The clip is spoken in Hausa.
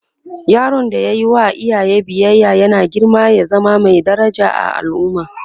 yaron da ya Yi wa iyaye biyaya yana girma ya zama Mai daraja a al'umma